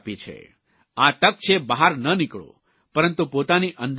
આ તક છે બહાર ન નીકળો પરંતુ પોતાની અંદર દાખલ થાઓ